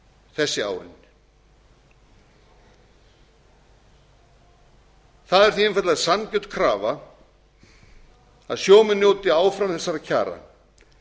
þessi áin það er því einfaldlega sanngjörn krafa að sjómenn njóti áfram þessara kjara